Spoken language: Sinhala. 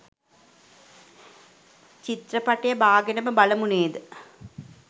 චිත්‍රපටිය බාගෙනම බලමු නේද?